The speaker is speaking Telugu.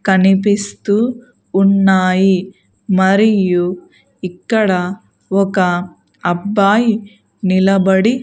కనిపిస్తూ ఉన్నాయి మరియు ఇక్కడ ఒక అబ్బాయి నిలబడి.